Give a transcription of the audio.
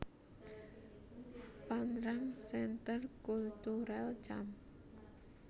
Phan Rang Centre Culturel Cam